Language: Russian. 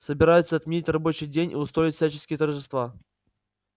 собираются отменить рабочий день и устроить всяческие торжества